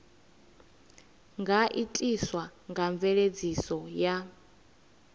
nga itiswa nga mveledziso ya